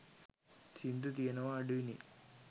සිංදු තියෙනවා අඩුයි නේ.